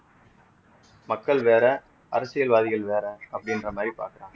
மக்கள் வேற அரசியல்வாதிகள் வேற அப்படின்ற மாதிரி பாக்கறாங்க